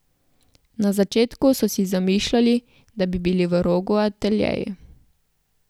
Na začetku so si zamišljali, da bi bili v Rogu ateljeji.